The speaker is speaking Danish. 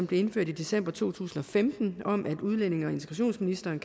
blev indført i december to tusind og femten om at udlændinge og integrationsministeren